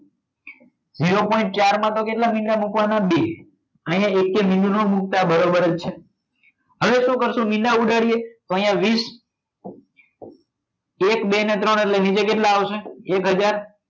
zero point ચાર માં તો કેટલા મીંડા મૂકવાના બે અહીંયા એકે મીંડું ના મુકતા બરોબર જ છે હવે શું કરશો? મીંડા ઉડાડીએ તો અહીંયા વીશ એક બે અને ત્રણ એની જગ્યાએ કેટલા આવશે એક હજાર